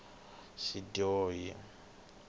xidyohi